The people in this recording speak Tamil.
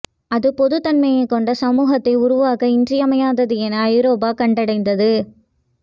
அது பொதுத்தன்மை கொண்ட சமூகத்தை உருவாக்க இன்றியமையாதது என ஐரோப்பா கண்டடைந்தது